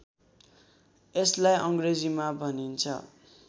यसलाई अङ्ग्रेजीमा भनिन्छ